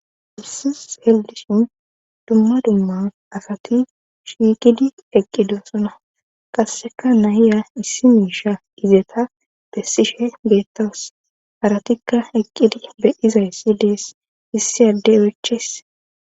Haysan xeelishin dumma dumma asati shiiqidi eqqidi sona qasseka nayiya issi miisha izeta bessishe geettawus haratikka eqqidi bedizay sidees issi addey oychese